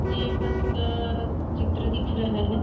ये बस का चित्र दिख रहा है।